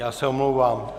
Já se omlouvám.